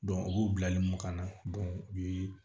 u b'u bila kɔnɔ u bi